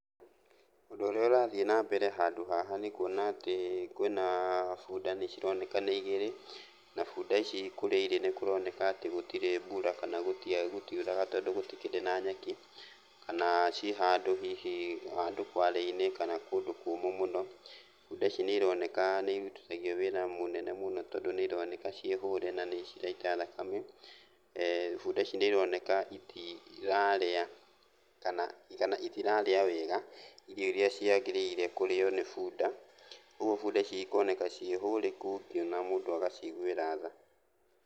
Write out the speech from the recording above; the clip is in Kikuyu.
Ũndũ ũrĩa ũrathiĩ na mbere handũ haha nĩ kuona atĩ kwĩna bunda nĩcironeka nĩ igĩrĩ, na bunda ici kũrĩa irĩ nĩ kũroneka atĩ gũtirĩ mbura, kana gũtiuraga tondũ gũtukĩrĩ na nyeki kana ciĩ handũ hihi handũ kwale-inĩ kana kũndũ kũmũ mũno. Bunda ici nĩironeka nĩirutithagio wĩra mũnene mũno tondũ nĩironeka ciĩ hũre na nĩciraita thakame. Bunda ici nĩironeka itirarĩa kana itirarĩa wega irio iria ciagĩrĩire kũrĩo nĩ bunda. Ũguo bunda ici ikoneka ciĩ hũrĩku atĩ ona mũndũ agaciguĩra tha.